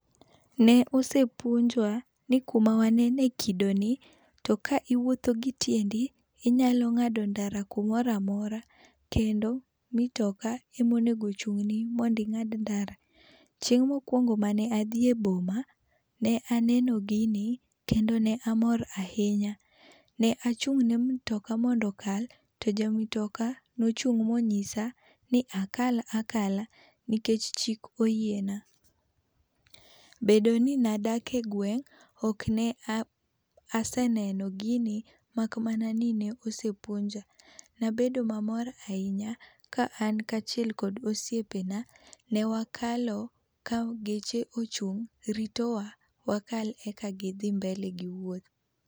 Ne osepuonjwa ni ku ma wanene e kido ni to ka iwuotho gi tiendi to inyalo ngado ndara ku moro amora kendo mtoka ma onego ochungni mondo ingad ndara .Chieng ma okuongo ma ne adhi e boma ne aneno gi ni kendo ne amor ahinya ,ne achung' ne mtoka mondo okal to ja motoka ne ochung' ma ong'isa ni aka akala nikech chik oyie na. Bedo ni ne adak e gweng okne aseneo gini mak mana ni ne osepuonja. Nabedo ma mor ahinya ka an kaachiel gi osiepe na ne wakalo ka geche ochung ritowa wakal e ka gi dhi mbele gi wuoth.